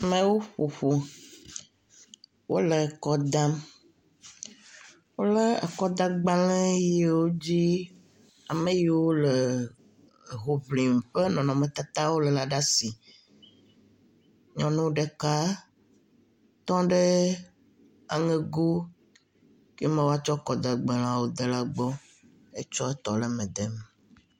Ameawo ƒoƒu. Wo le akɔ dam wole akɔdagbale yiwo dzi ame yiwo le ehoŋlim ƒe nɔnɔmetata wo ɖe asi. Nyɔnu ɖeka tɔ ɖe aŋego ke me woatsɔ akɔdagbaleawo de la gbɔ. Etsɔ etɔ le eme dem.